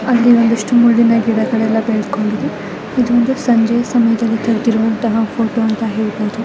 ಅಲ್ಲಿ ಒಂದಷ್ಟು ಮುಳ್ಳಿನ ಗಿಡಗಳು ಬೆಳ್ಕೊಂಡು ಇದು ಒಂದು ಸಂಜೆಯ ಸಮಯದಲ್ಲಿ ತೆಗ್ದಿರುವಂತ ಫೋಟೋ ಅಂತ ಹೇಳ್ಬೋದು .